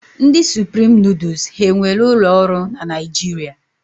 Ndị Supreme nuduls ha e nwere ụlọ ọrụ na Naijiria?